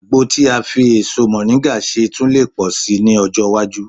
Àgbo tí a lè fi èso mọ̀ríńgà ṣe tun lè pọ̀ sí i ní ọjọ́ iwájú